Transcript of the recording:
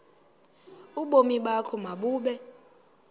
ubomi bakho mabube